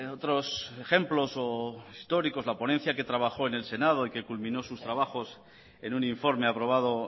otros ejemplos o históricos la ponencia que trabajó en el senado y que culminó sus trabajos en un informe aprobado